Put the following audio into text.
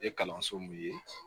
Ye kalanso min ye